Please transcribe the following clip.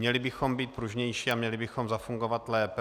Měli bychom být pružnější a měli bychom zafungovat lépe.